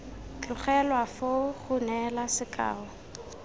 tlogelwa foo go neela sekao